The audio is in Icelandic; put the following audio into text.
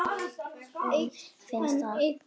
Ekki öfunda ég þá